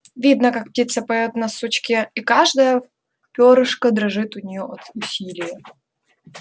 видно как птица поёт на сучке и каждое пёрышко дрожит у нее от усилия